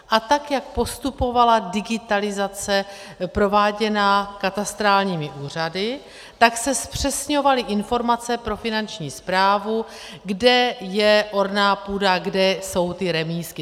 A tak jak postupovala digitalizace prováděná katastrálními úřady, tak se zpřesňovaly informace pro Finanční správu, kde je orná půda, kde jsou ty remízky.